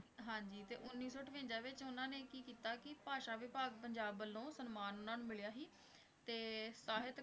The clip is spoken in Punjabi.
ਹਾਂਜੀ ਤੇ ਉੱਨੀ ਸੌ ਅਠਵੰਜਾ ਵਿੱਚ ਉਹਨਾਂ ਨੇ ਕੀ ਕੀਤਾ ਕਿ ਭਾਸ਼ਾ ਵਿਭਾਗ ਪੰਜਾਬ ਵੱਲੋਂ ਸਨਮਾਨ ਉਹਨਾਂ ਨੂੰ ਮਿਲਿਆ ਸੀ ਤੇ ਸਾਹਿਤ,